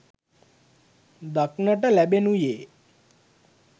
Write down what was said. දක්නට ලැබෙනුයේ